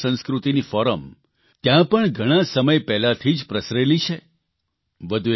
પરંતુ ભારતીય સંસ્કૃતિની ફોરમ ત્યાં ઘણા સમય પહેલાંથી જ પ્રસરેલી છે